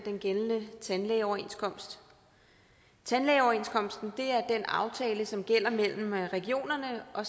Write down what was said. den gældende tandlægeoverenskomst tandlægeoverenskomsten er den aftale som gælder mellem regionerne og